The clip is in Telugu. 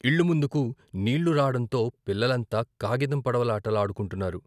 ఇళ్ళు ముందుకు నీళ్ళు రావడంతో పిల్లలంతా కాగితం పడవలాట లాడుకుంటున్నారు.